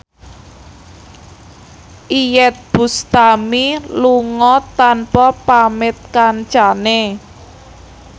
Iyeth Bustami lunga tanpa pamit kancane